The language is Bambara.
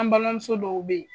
An balimamuso dɔw bɛ yen